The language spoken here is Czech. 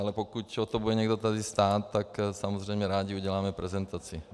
Ale pokud o to bude někdo tady stát, tak samozřejmě rádi uděláme prezentaci.